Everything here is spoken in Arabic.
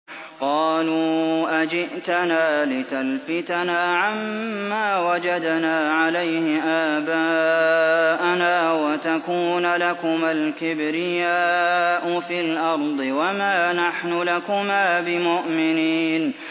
قَالُوا أَجِئْتَنَا لِتَلْفِتَنَا عَمَّا وَجَدْنَا عَلَيْهِ آبَاءَنَا وَتَكُونَ لَكُمَا الْكِبْرِيَاءُ فِي الْأَرْضِ وَمَا نَحْنُ لَكُمَا بِمُؤْمِنِينَ